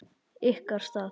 Ykkar stað?